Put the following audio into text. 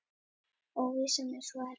Óvissan er svo erfið.